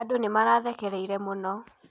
Andũ nĩmarathekereire mũno.